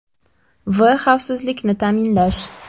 V. Xavfsizlikni ta’minlash.